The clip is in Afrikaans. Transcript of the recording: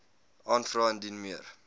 aanvra indien meer